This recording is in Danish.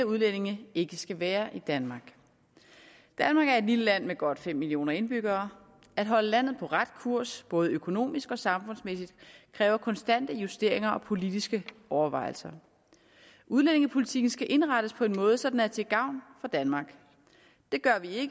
udlændinge ikke skal være i danmark danmark er et lille land med godt fem millioner indbyggere at holde landet på ret kurs både økonomisk og samfundsmæssigt kræver konstante justeringer og politiske overvejelser udlændingepolitikken skal indrettes på en måde så den er til gavn for danmark det gør vi